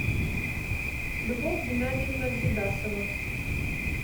любовь геннадьевна гридасова